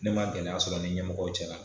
Ne ma gɛlɛya sɔrɔ ni ɲɛmɔgɔ cɛla